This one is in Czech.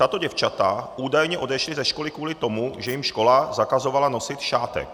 Tato děvčata údajně odešla ze školy kvůli tomu, že jim škola zakazovala nosit šátek.